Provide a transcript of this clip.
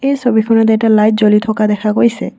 এই ছবিখনত এটা লাইট জ্বলি থকা দেখা গৈছে।